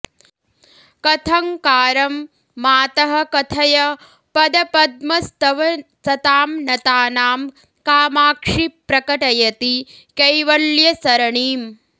कथंकारं मातः कथय पदपद्मस्तव सतां नतानां कामाक्षि प्रकटयति कैवल्यसरणिम्